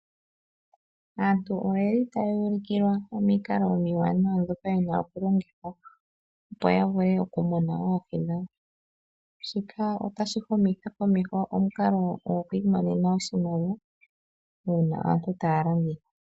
Aantu ohaya ulukilwa omikalo omiwanawa ndhoka hadhi longithwa okumuna oohi. Shika ohashi humitha komeho omikalo dhokwiimonena iimaliwa uuna aantu taya landitha.